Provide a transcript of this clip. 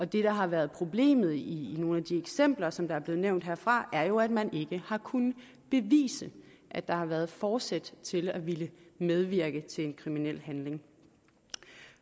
det der har været problemet i nogle af de eksempler som der er blevet nævnt herfra er jo at man ikke har kunnet bevise at der har været forsæt til at ville medvirke til en kriminel handling